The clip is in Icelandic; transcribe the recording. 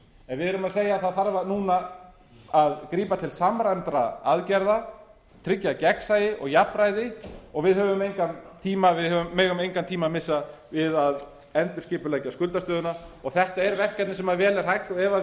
en við erum að segja að það þarf núna að grípa til samræmdra aðgerða tryggja gegnsæi og jafnræði og við höfum engan tíma við megum engan tíma missa við að endurskipuleggja skuldastöðuna þetta er verkefni sem vel er hægt og